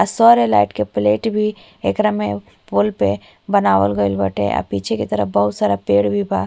आ सौर्य लाइट के प्लेट भी एकरा में पोल पे बनावल गइल बाटे आ पीछे के तरफ बहुत सारा पेड़ भी बा।